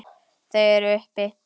Þau eru uppi.